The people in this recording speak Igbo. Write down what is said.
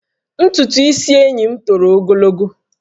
Ntutu isi enyi m toro ogologo